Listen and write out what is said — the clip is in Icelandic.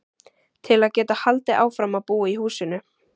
Til að geta haldið áfram að búa í húsinu.